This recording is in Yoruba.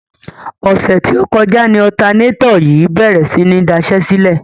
Ọ̀sẹ̀ tí ó kọjá ni ọ̀tanátọ̀ yìí bèrè sí ní daṣẹ́sílẹ̀.